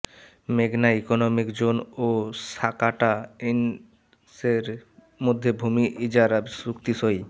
মেঘনা economic zone ও Sakata ইনক্সের মধ্যে ভূমি ইজারা চুক্তি সই